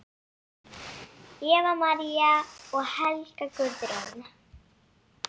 Eva María og Helga Guðrún.